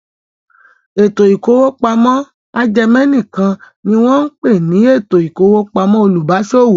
Ètò ìkówópamọ́ ajẹmẹ̀nìkan ni wọ́n ń pè ní ètò ìkówópamọ́ olùbáṣòwò.